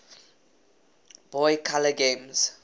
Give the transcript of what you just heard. boy color games